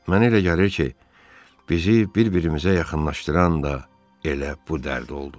Mənə elə gəlir ki, bizi bir-birimizə yaxınlaşdıran da elə bu dərd oldu.